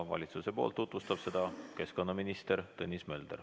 Valitsusest tutvustab seda keskkonnaminister Tõnis Mölder.